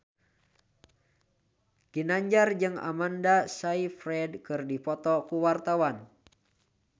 Ginanjar jeung Amanda Sayfried keur dipoto ku wartawan